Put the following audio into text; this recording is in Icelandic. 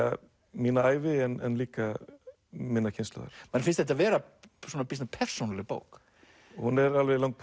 mína ævi en líka minnar kynslóðar manni finnst þetta vera býsna persónuleg bók hún er alveg lang